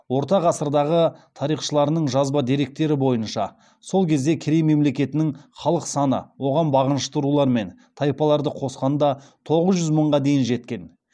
орта ғасырлардағы тарихшыларының жазба деректері бойынша сол кезде керей мемлекетінің халық саны оған бағынышты рулар мен тайпаларды қосқанда тоғыз жүз мыңға дейін жеткен